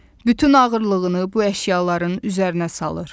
Bütün ağırlığını bu əşyaların üzərinə salır.